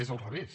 és al revés